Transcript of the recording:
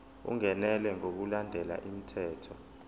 ungenelwe ngokulandela umthetho